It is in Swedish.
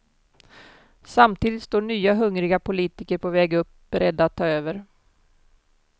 Samtidigt står nya hungriga politiker på väg upp beredda att ta över.